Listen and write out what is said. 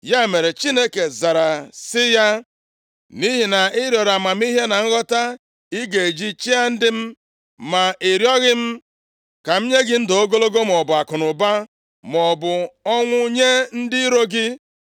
Ya mere, Chineke zara sị ya, “Nʼihi na ị rịọrọ amamihe na nghọta ị ga-eji chịa ndị m, ma ị rịọghị m ka m nye gị ndụ ogologo, maọbụ akụnụba, maọbụ ọnwụ nye ndị iro gị.